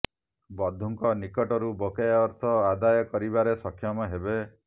ବନ୍ଧୁଙ୍କ ନିକଟରୁ ବକେୟା ଅର୍ଥ ଆଦାୟ କରିବାରେ ସକ୍ଷମ ହେବେ